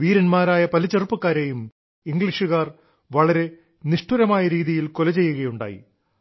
വീര•ാരായ പല ചെറുപ്പക്കാരേയും ഇംഗ്ലീഷുകാർ വളരെ നിഷ്ഠുരമായ രീതിയിൽ കൊല ചെയ്യുകയുണ്ടായി